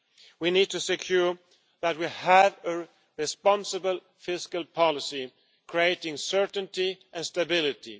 We need to secure a responsible fiscal policy, creating certainty and stability.